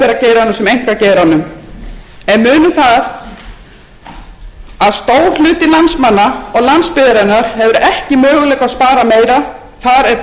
geiranum sem einkageiranum en munum það að stór hluti námsmanna og landsbyggðarinnar hefur ekki möguleika á að spara meira þar er botninum náð fyrir löngu síðan